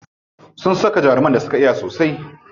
Sun saka jaruman da suka iya sosai.